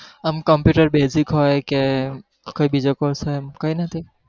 આમ computer basic હોય કે કોઈ બીજો course હોય એવું કઈ નથી